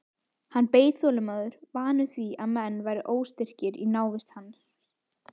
Hann beið þolinmóður, vanur því að menn væru óstyrkir í návist hans.